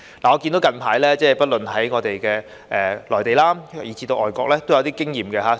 我看到近來，不論是內地以至外國，也有一些經驗可以參考。